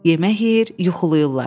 Yemək yeyir, yuxulayırlar.